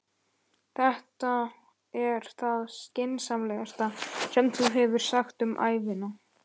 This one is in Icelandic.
Þetta er það skynsamlegasta sem þú hefur sagt um ævina